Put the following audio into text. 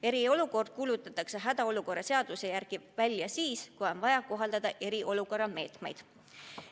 Eriolukord kuulutatakse hädaolukorra seaduse järgi välja siis, kui on vaja kohaldada eriolukorra meetmeid.